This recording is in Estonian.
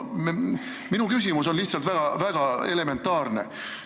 Minu küsimus on väga elementaarne.